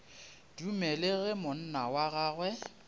dumele ge monna wa gagwe